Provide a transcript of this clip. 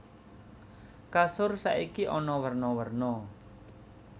Kasur saiki ana werna werna